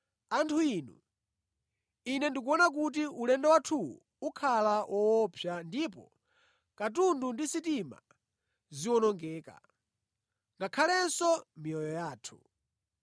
“Anthu inu, ine ndikuona kuti ulendo wathuwu ukhala woopsa ndipo katundu ndi sitima ziwonongeka, ngakhalenso miyoyo yathu.”